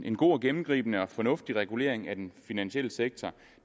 en god og gennemgribende og fornuftig regulering af den finansielle sektor